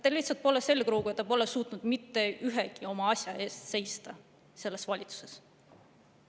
" Teil lihtsalt pole selgroogu, te pole suutnud mitte ühegi oma asja eest seista selles valitsuses.